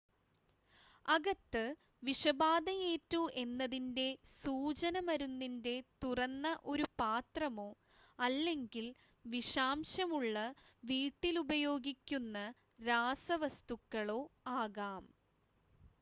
അകത്ത് വിഷബാധയേറ്റു എന്നതിൻ്റെ സൂചന മരുന്നിൻ്റെ തുറന്ന ഒരു പാത്രമോ അല്ലെങ്കിൽ വിഷാംശമുള്ള വീട്ടിലുപയോഗിക്കുന്ന രാസവസ്തുക്കളോ ആകാം